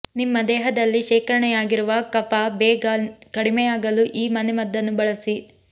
ನಿಮ್ಮ ದೇಹದಲ್ಲಿ ಶೇಖರಣೆಯಾಗಿರುವ ಕಫ ಬೇಗ ಕಡಿಮೆಯಾಗಲು ಈ ಮನೆಮದ್ದನ್ನು ಬಳಸಿ